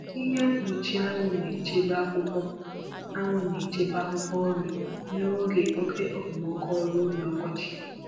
Ihe mkpuchi anwụ na-echebe akwụkwọ anwụ na-echebe akwụkwọ nri n’oge oke okpomọkụ ọrụ ubi ọkọchị